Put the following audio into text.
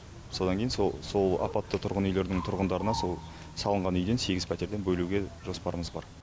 содан кейін сол сол апатты тұрғын үйлердің тұрғындарына сол салынған үйден сегіз пәтерден бөлуге жоспарымыз бар